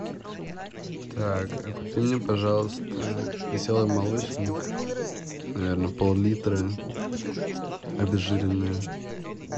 так купи мне пожалуйста веселый молочник наверное поллитра обезжиренное